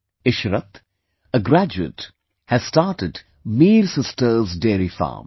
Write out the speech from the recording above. Ishrat, a graduate, has started Mir Sisters Dairy Farm